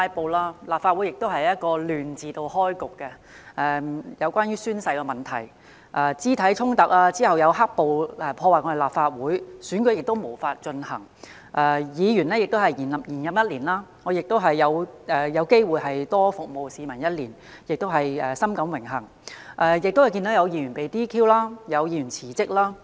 本屆立法會由"亂"字開局，例如宣誓問題、肢體衝突，然後是"黑暴"破壞立法會，選舉無法進行，議員延任一年——我因而有機會多服務市民一年，我深感榮幸——同時，有議員被 "DQ"， 又有議員辭職。